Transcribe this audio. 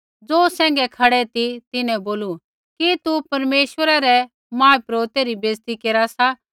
ज़ो सैंघै खड़ै ती तिन्हैं बोलू कि तू परमेश्वरै रै महापुरोहिता री बेइज़ती केरा सा